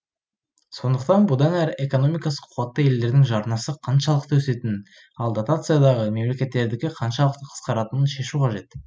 сондықтан бұдан әрі экономикасы қуатты елдердің жарнасы қаншалықты өсетінін ал дотациядағы мемлекеттердікі қаншалықты қысқаратынын шешу қажет